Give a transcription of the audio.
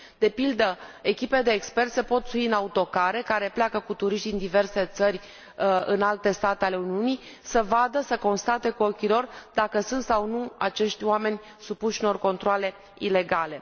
De pildă, echipe de experți se pot sui în autocare care pleacă cu turiști din diverse țări în alte state ale Uniunii, să vadă, să constate cu ochii lor dacă sunt sau nu acești oameni supuși unor controale ilegale.